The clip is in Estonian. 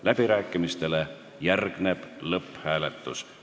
Läbirääkimistele järgneb lõpphääletus.